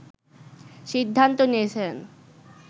সিদ্ধান্ত নিয়েছেন